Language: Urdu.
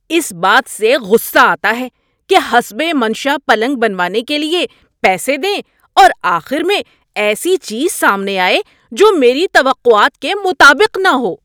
اس بات سے غصہ آتا ہے کہ حسب منشاء پلنگ بنوانے کے لیے پیسے دیں اور آخر میں ایسی چیز سامنے آئے جو میری توقعات کے مطابق نہ ہو۔